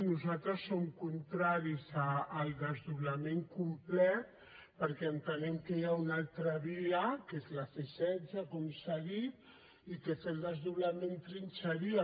nosaltres som contraris al desdoblament complet perquè entenem que hi ha una altra via que és la c setze com s’ha dit i que fer el desdoblament trinxaria